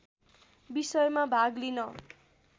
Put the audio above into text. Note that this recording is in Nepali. विषयमा भाग लिन